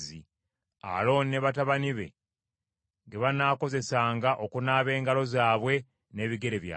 Alooni ne batabani be ge banaakozesanga okunaaba engalo zaabwe n’ebigere byabwe.